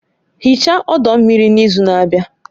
Hichaa ọdọ mmiri n'izu na-abịa